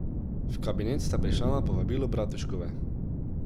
V kabinet sta prišla na povabilo Bratuškove.